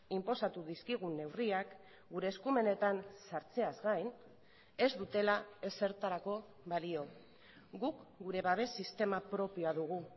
inposatu dizkigun neurriak gure eskumenetan sartzeaz gain ez dutela ezertarako balio guk gure babes sistema propioa dugu